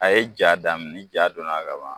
A ye ja daminɛ ni ja donna ban